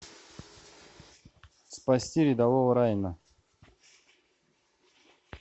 спасти рядового райана